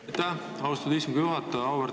Aitäh, austatud istungi juhataja!